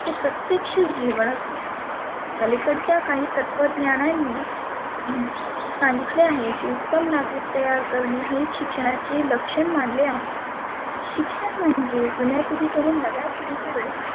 प्रत्येक्ष जिवनच आलिकडच्या काही तत्वज्ञानांनी सांगितले आहे की उत्तम नागरीक तयार करणे हे शिक्षणाचे लक्षण मानले आहे. शिक्षण म्हणजे जुण्या पिढीकडुन नव्या पिढीकडे